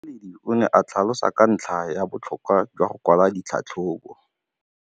Motlhatlheledi o ne a tlhalosa ka ntlha ya botlhokwa jwa go kwala tlhatlhôbô.